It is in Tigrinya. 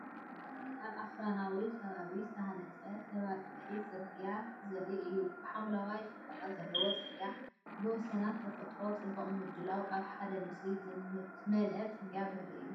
እዚ ኣብ ኣኽራናዊ ከባቢ ዝተሃንጸ ተበጻሒ ጽርግያ ዘርኢ እዩ። ብሓምላይ ጽባቐ ዘለዎ ጽርግያ ብወሰናት፡ ተፈጥሮን ጽቡቕ ምድላውን ኣብ ሓደ ምስሊ ዝመልአ ጽርግያ ዘርኢ እዩ።